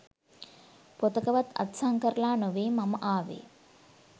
පොතකවත් අත්සන් කරලා නොවෙයි මම ආවේ